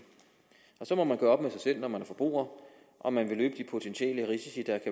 så må man gøre op med sig selv når man er forbruger om man vil løbe de potentielle risici der